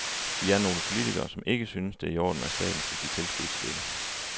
Vi er nogle politikere, som ikke synes, det er i orden, at staten skal give tilskud til dette.